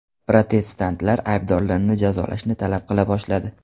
Protestantlar aybdorlarni jazolashni talab qila boshladi.